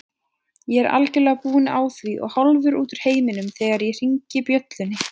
Ég er algjörlega búinn á því og hálfur út úr heiminum þegar ég hringi bjöllunni.